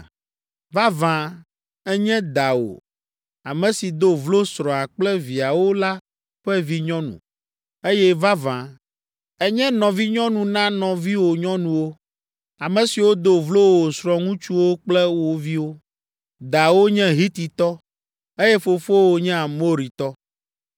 Vavã ènye dawò, ame si do vlo srɔ̃a kple viawo la ƒe vinyɔnu, eye vavã, ènye nɔvinyɔnu na nɔviwò nyɔnuwo, ame siwo do vlo wo srɔ̃ŋutsuwo kple wo viwo. Dawò nye Hititɔ, eye fofowò nye Amoritɔ.